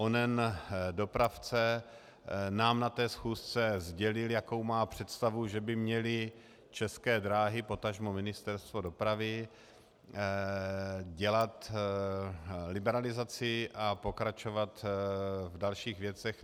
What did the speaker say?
Onen dopravce nám na té schůzce sdělil, jakou má představu, že by měly České dráhy, potažmo Ministerstvo dopravy dělat liberalizaci a pokračovat v dalších věcech.